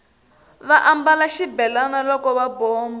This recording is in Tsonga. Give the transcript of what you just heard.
va ambala xibelani loko va bomba